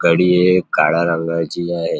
कडी हे एक काळ्या रंगाची आहे.